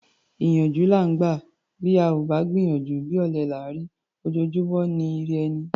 Ìyànjú là ńgbà; bá ò gbìyànjú, bí ọ̀lẹ là ńrí; ojojúmọ́ ni í rẹ'ni.